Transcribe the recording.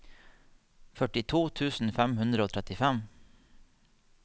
førtito tusen fem hundre og trettifem